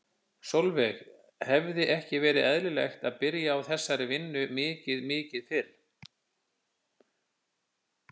Sólveig: Hefði ekki verið eðlilegt að byrja á þessari vinnu mikið mikið fyrr?